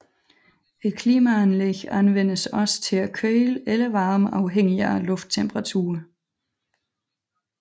Et klimaanlæg anvendes også til at køle eller varme afhængig af lufttemperaturen